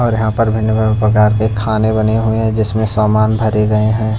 और यहां पर भिन्न भिन्न प्रकार के खाने बने हुए हैं जिसमें सामान भरे गए हैं।